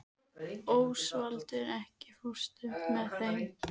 Ósvaldur, ekki fórstu með þeim?